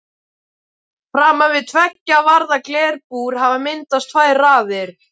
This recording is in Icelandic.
Framan við tveggja varða glerbúr hafa myndast tvær raðir.